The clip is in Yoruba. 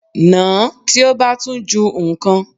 Nà-án tí ó bá tún ju nǹkan.